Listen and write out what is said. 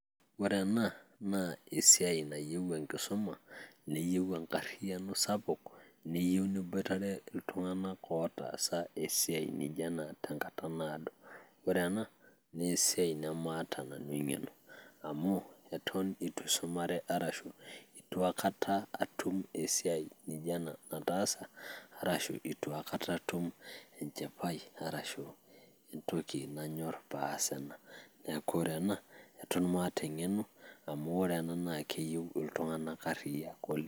Ore ena naa esiai nayieu enkisuma, neyieu enkarriyiano sapuk neyieu niboitare iltung'anak ootaasa esiai nijio ena tenkata naado. Ore ena naa esiai namaata nanu eng'eno amu eton itu aisumare, arashu itu aikata atum esiai nijio ena nataasa, arashu itu atum enchipai naasie esiai nijio ena namaata eng'eno amu ore ena naa keyieu iltung'anak arriyiak oleng'.